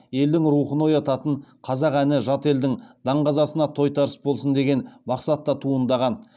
елдің рухын оятатын қазақ әні жат елдің даңғазасына тойтарыс болсын деген мақсатта туындаған